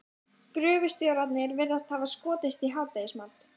Gröfustjórarnir virðast hafa skotist í hádegismat.